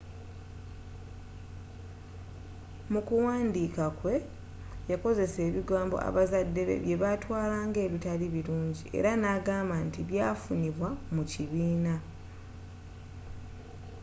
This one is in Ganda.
mu kuwandiika kwe yakozesa ebigambo abazadde be byebatwala nga ebitali bulungi ere nagamba nti byafunibwa mu kibiina